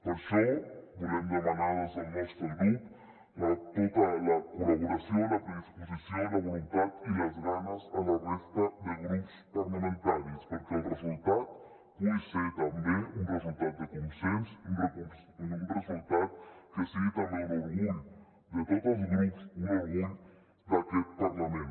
per això volem demanar des del nostre grup tota la col·laboració la predisposició la voluntat i les ganes a la resta de grups parlamentaris perquè el resultat pugui ser també un resultat de consens un resultat que sigui també un orgull de tots els grups un orgull d’aquest parlament